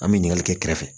An bɛ ɲininkali kɛ kɛrɛfɛ